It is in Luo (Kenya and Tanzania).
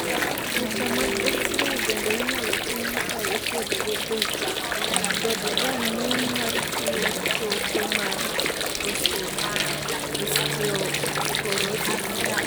picha mag xray bende inyalo tim ka ipuodhogo bet kod rang'iny mar tuo choke mar osteoporosis